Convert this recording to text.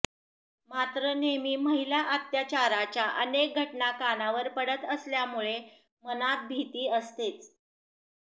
मात्र नेहमी महिला अत्याचाराच्या अनेक घटना कानावर पडत असल्यामुळे मनात भीती असतेच